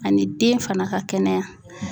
Ani den fana ka kɛnɛya.